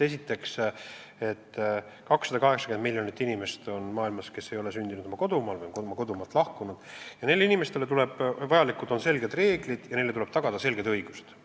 Esiteks see, et maailmas on 280 miljonit inimest, kes ei ole sündinud oma praegusel kodumaal või on oma kodumaalt lahkunud, ning vajalikud on selged reeglid ja tuleb tagada selged õigused.